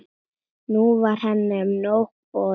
Nú var henni nóg boðið.